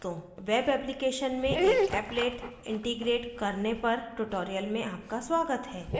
web application में एक applet applet integrate एकीकरण करना करने पर ट्यूटोरियल में आपका स्वागत है